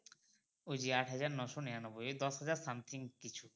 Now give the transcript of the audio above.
ওই আট হাজার নয়শ নিরানব্বই এই দশ হাজার something কিছু